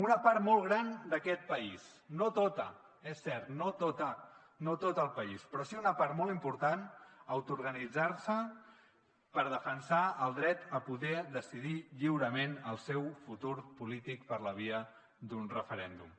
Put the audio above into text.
una part molt gran d’aquest país no tota és cert no tota no tot el país però sí una part molt important va autoorganitzar se per defensar el dret a poder decidir lliurement el seu futur polític per la via d’un referèndum